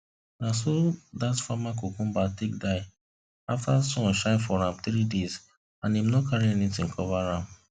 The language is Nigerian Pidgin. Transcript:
na so that farmer cucumber take die after sun shine for am 3 days and him no carry anything cover am